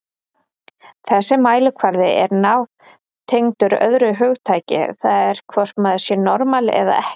Þessi mælikvarði er nátengdur öðru hugtaki, það er hvort maður sé normal eða ekki.